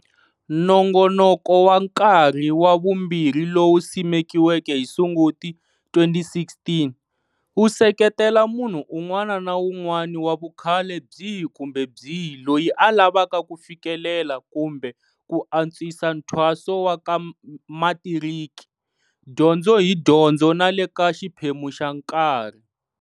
Nongonoko wa Nkarhi wa Vumbirhi lowu simekiweke hi Sunguti 2016, wu seketela munhu un'wana na un'wana wa vukhale byihi kumbe byihi loyi a lavaka ku fikelela kumbe ku antswisa nthwaso wa ka matiriki, dyondzo hi dyondzo na le ka xiphemu xa nkarhi.